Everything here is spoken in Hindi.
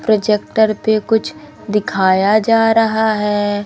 प्रोजेक्टर पे कुछ दिखाया जा रहा है।